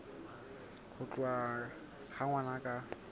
ho tholwa ha ngwana ka